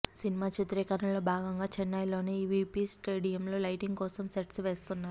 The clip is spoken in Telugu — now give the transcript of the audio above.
సినిమా చిత్రీకరణలో భాగంగా చెన్నైలోని ఈవీపీ స్టూడియోలో లైటింగ్ కోసం సెట్స్ వేస్తున్నారు